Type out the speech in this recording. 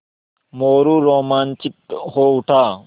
मोरू रोमांचित हो उठा